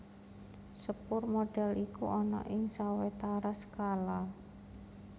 Sepur modèl iku ana ing sawetara skala